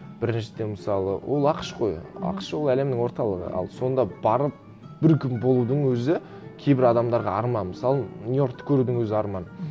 біріншіден мысалы ол ақш қой ақш ол әлемнің орталығы ал сонда барып бір күн болудын өзі кейбір адамдарға арман мысалы нью йоркті көрудін өзі арман